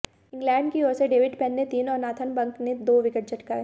England की ओर से डेविड पेन ने तीन और नाथन बक ने दो विकेट चटकाए